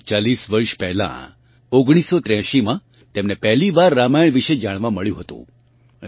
લગભગ 40 વર્ષ પહેલાં 1983 માં તેમને પહેલી વાર રામાયણ વિશે જાણવા મળ્યું હતું